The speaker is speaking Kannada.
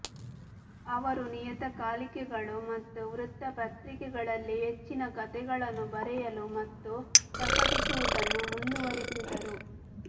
ಅವರು ನಿಯತಕಾಲಿಕೆಗಳು ಮತ್ತು ವೃತ್ತಪತ್ರಿಕೆಗಳಲ್ಲಿ ಹೆಚ್ಚಿನ ಕಥೆಗಳನ್ನು ಬರೆಯಲು ಮತ್ತು ಪ್ರಕಟಿಸುವುದನ್ನು ಮುಂದುವರೆಸಿದರು